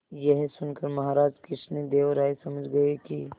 यह सुनकर महाराज कृष्णदेव राय समझ गए कि